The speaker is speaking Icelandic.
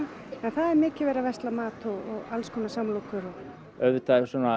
það er mikið verið að versla mat og alls konar samlokur auðvitað